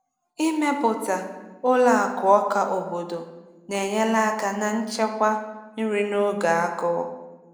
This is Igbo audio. Ịmepụta ụlọ akụ ọka obodo na-enyere aka na nchekwa nri n’oge agụụ.